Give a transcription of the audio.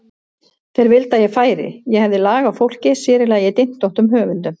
Þeir vildu að ég færi, ég hefði lag á fólki, sér í lagi dyntóttum höfundum.